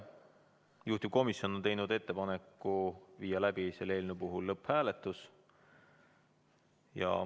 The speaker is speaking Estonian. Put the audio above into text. Juhtivkomisjon on teinud ettepaneku viia läbi selle eelnõu lõpphääletus.